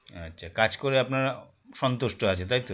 আচ্ছা কাজ করে আপনারা সন্তুষ্ট আছে তাইতো